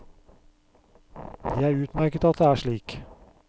Det er utmerket at det er slik.